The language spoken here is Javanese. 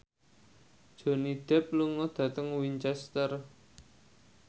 Johnny Depp lunga dhateng Winchester